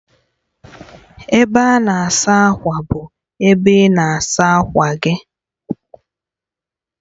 Ebe a na-asa ákwà bụ ebe ị na-asa akwa gị